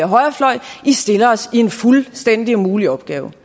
højrefløj i stiller os en fuldstændig umulig opgave